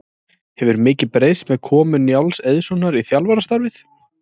Hefur mikið breyst með komu Njáls Eiðssonar í þjálfarastarfið?